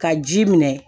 Ka ji minɛ